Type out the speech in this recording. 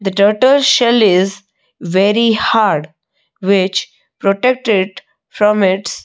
the turtle shell is very hard which protect it from its --